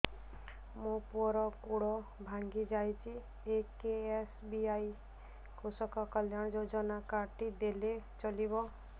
ମୋ ପୁଅର ଗୋଡ଼ ଭାଙ୍ଗି ଯାଇଛି ଏ କେ.ଏସ୍.ବି.ୱାଇ କୃଷକ କଲ୍ୟାଣ ଯୋଜନା କାର୍ଡ ଟି ଦେଲେ ଚଳିବ